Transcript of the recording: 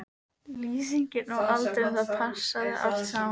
Lýsingin og aldurinn, það passaði allt saman.